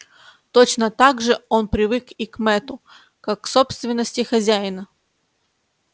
точно так же он привык и к мэтту как к собственности хозяина